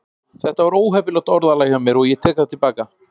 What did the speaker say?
Þetta var óheppilegt orðalag hjá mér og ég tek það til baka.